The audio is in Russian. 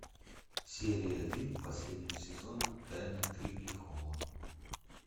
серия один последнего сезона тайна крикли холла